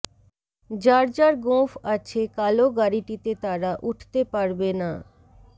যার যার গোঁফ আছে কালো গাড়িটিতে তারা উঠতে পারবে না